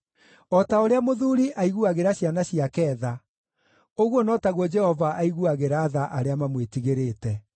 O ta ũrĩa mũthuuri aiguagĩra ciana ciake tha, ũguo no taguo Jehova aiguagĩra tha arĩa mamwĩtigĩrĩte;